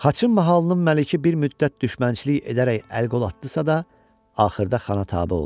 Xaçın mahalının məliki bir müddət düşmənçilik edərək əl-qol atdısa da, axırda xana tabe oldu.